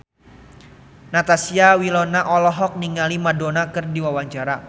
Natasha Wilona olohok ningali Madonna keur diwawancara